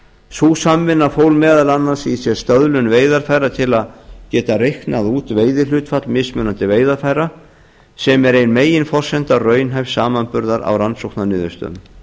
sú samvinna fól meðal annars í sér stöðlun veiðarfæra til að geta reiknað út veiðihlutfall mismunandi veiðarfæra sem er ein meginforsenda raunhæfs samanburðar á rannsóknarniðurstöðum